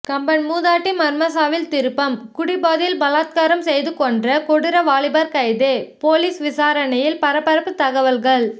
கம்பம் மூதாட்டி மர்மச்சாவில் திருப்பம் குடிபோதையில் பலாத்காரம் செய்து கொன்ற கொடூர வாலிபர் கைது போலீஸ் விசாரணையில் பரபரப்பு தகவல்கள்